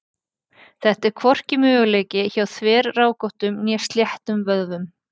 Þetta er hvorki mögulegt hjá þverrákóttum né sléttum vöðvum.